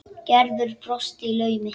Gerður brosti í laumi.